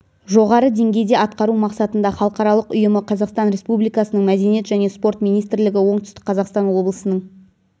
жоғары деңгейде атқару мақсатында халықаралық ұйымы қазақстан республикасының мәдениет және спорт министрлігі оңтүстік қазақстан облысының